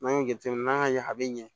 N'an y'o jateminɛ n'an y'a ye a be ɲɛ